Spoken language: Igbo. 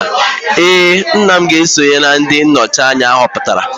ee, nna m ga-eso na ndị nnọchi anya ahọpụtara